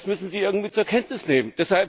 Das müssen Sie irgendwie zur Kenntnis nehmen.